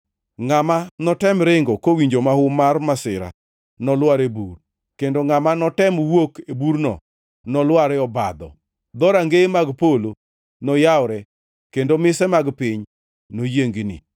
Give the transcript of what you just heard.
Ngʼama notem ringo kowinjo mahu mar masira nolwar e bur, kendo ngʼama notem wuok e burno nolwar e obadho. Dhorangeye mag polo noyawre, kendo mise mag piny noyiengni.